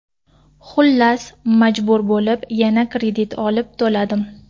Xullas, majbur bo‘lib, yana kredit olib to‘ladim.